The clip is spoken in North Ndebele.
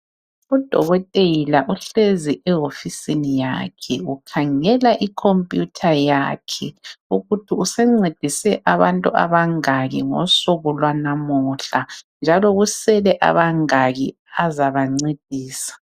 Udokothela uhlezi ewofisini yakhe, ukhangele ikhompiyutha yakhe ukuthi usencedise abantu abangaki ngosuku lwanamuhla njalo kusele abangaki azabancedisa.